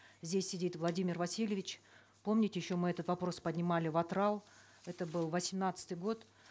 здесь сидит владимир васильевич помните еще мы этот вопрос поднимали в атырау это был восемнадцатый год